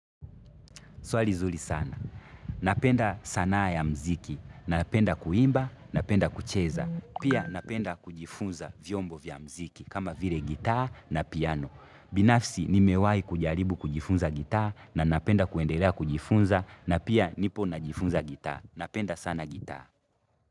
Swali zuri sana. Napenda sanaa ya mziki. Napenda kuimba, napenda kucheza. Pia napenda kujifunza vyombo vya mziki kama vile gitaa na piano. Binafsi nimewai kujaribu kujifunza gitaa na napenda kuendelea kujifunza na pia nipo najifunza gitaa. Napenda sana gita.